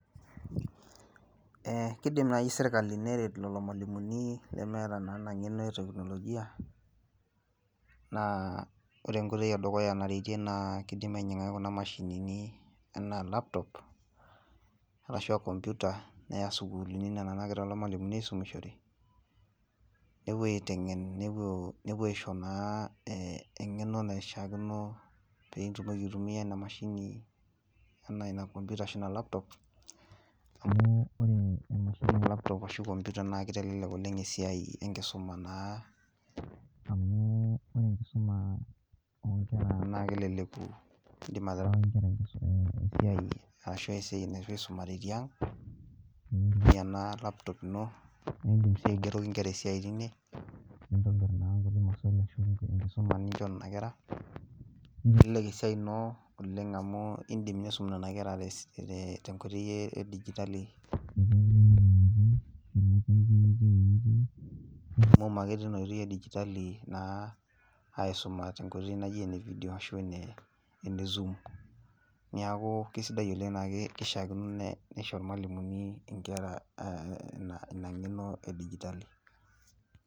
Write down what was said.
Ee kidim nai sirkali neret lelo mwalimuni neemeta nkoitoi eteknolojia , naa ore enkoitoi edukuya nartie naa ene dukuya naa kidim ainyiangaki kuna mashinini anaa laptop ashua computer neya sukuulini nena nagira lelo mwalimuni aisumishore nepuo aitengen, nepuo aisho naa engeno naishiakino pitumoki aitumia ina mashini ina computer ashu laptop naa kitelelek oleng esiai enkisuma naa naa keleleku